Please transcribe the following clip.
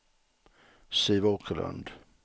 Siv Åkerlund